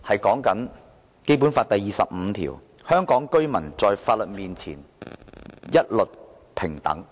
《基本法》第二十五條訂明，香港居民在法律面前一律平等。